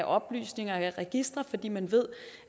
oplysninger eller registre fordi man ved